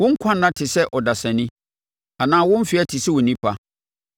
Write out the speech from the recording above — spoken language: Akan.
Wo nkwa nna te sɛ ɔdasani anaa wo mfeɛ te sɛ onipa,